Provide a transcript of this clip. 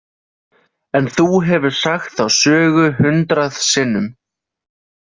En þú hefur sagt þá sögu hundrað sinnum.